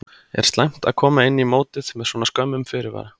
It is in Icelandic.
Er slæmt að koma inn í mótið með svona skömmum fyrirvara?